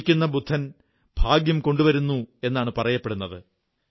ചിരിക്കുന്ന ബുദ്ധൻ ഭാഗ്യം കൊണ്ടുവരുന്നു എന്നാണ് പറയപ്പെടുന്നത്